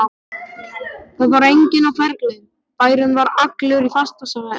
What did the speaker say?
Það var enginn á ferli, bærinn var allur í fastasvefni.